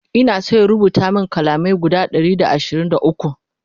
Ina San ya rubuta min kalamai guda Ɗari da ashirin da ukwu